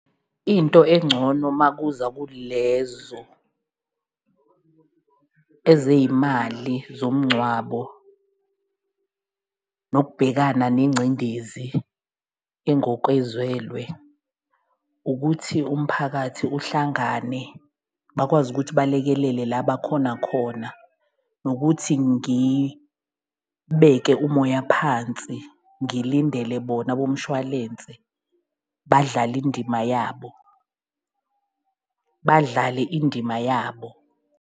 Into engcono makuza kulezo ezeyimali zomngcwabo nokubhekana nengcindezi engokwezwelwe, ukuthi umphakathi uhlangane bakwazi ukuthi balekelele la bakhona khona nokuthi ngibeke umoya phansi, ngilindele bona bomshwalense, badlale indima yabo, badlale indima yabo.